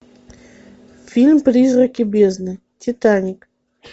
фильм призраки бездны титаник